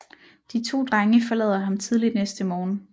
De to drenge forlader ham tidligt næste morgen